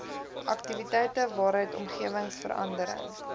aktiwiteite waaruit omgewingsverandering